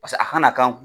Paseke a kana k'an kun